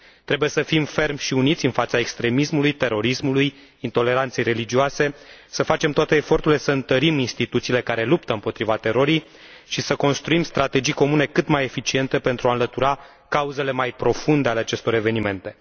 Trebuie să fim fermi și uniți în fața extremismului, terorismului, intoleranței religioase, să facem toate eforturile să întărim instituțiile care luptă împotriva terorii și să construim strategii comune cât mai eficiente pentru a înlătura cauzele mai profunde ale acestor evenimente.